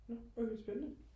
nå okay spændende